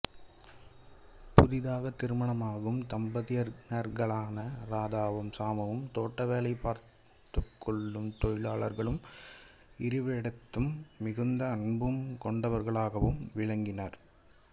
புதிதாக திருமணமாகும் தம்பதியினர்களான ரதாவும் சாமுவும் தோட்ட வேலை பார்த்துக் கொள்ளும் தொழிலாளலர்களும் இருவரிடத்தும் மிகுந்த அன்பும் கொண்டவர்களாகவும் விளங்கினர்